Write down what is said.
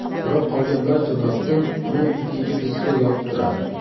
Biroq qolgan barcha vaqtda uni ikkinchi displey yopib turadi.